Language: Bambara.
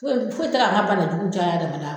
Foyi foyi tɛ ka an ka banajuguw caya adamadan kɔ.